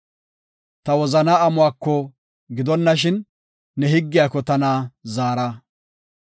Ta wozanaa amuwako gidonashin, ne higgiyako tana zaara.